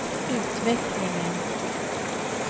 utvecklingen